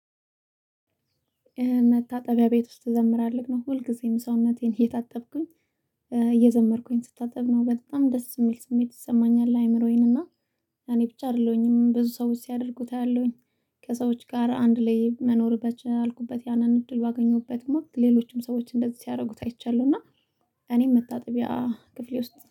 መታጠቢያ ቤት ውስጥ እዘምራለሁ ነው ሁልጊዜም ሰውነቴን እየታጠብኩኝ እየዘመርኩኝ ስታጠብ ነው በጣም ደስ የሚል ስሜት ይሰማኛል። አይምሮዬን እና እኔ ብቻ አይደለሁኝም ብዙ ሰዎች ሲያደርጉት አያለውኝ። ከሰዎች ጋር አንድ ላይ መኖር በቻልኩበት ያንን እድል ባገኘሁበት ወቅት ሌሎችም ሰዎች እንደዚህ ሲያደርጉት አይቻለሁ እና። እኔም መታጠቢያ ክፍሌ ውስጥ